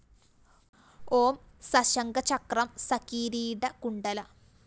ഓം സശംഖ ചക്രം സകിരീട കുണ്ഡലം